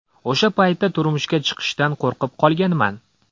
O‘sha paytda turmushga chiqishdan qo‘rqib qolganman.